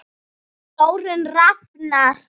Þórunn Rafnar.